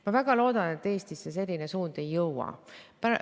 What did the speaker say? Ma väga loodan, et Eestisse selline suund ei jõua.